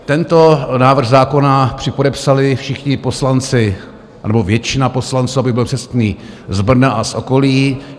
Tento návrh zákona připodepsali všichni poslanci anebo většina poslanců, abych byl přesný, z Brna a z okolí.